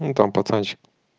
ну там пацанчик